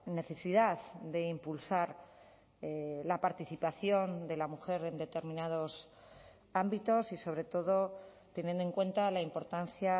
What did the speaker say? necesidad de impulsar la participación de la mujer en determinados ámbitos y sobre todo teniendo en cuenta la importancia